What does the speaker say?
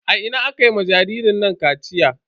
A ina aka ma jaririn nan kaciya?